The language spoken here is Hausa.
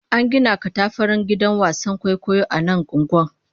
An gina katafaren gidan wasan kwaikwayo a nan unguwar